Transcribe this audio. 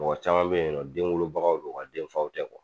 Mɔgɔ caman bɛ yen nɔ, den wolobagaw don nga denfaw tɛ